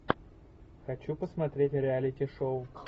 хочу посмотреть реалити шоу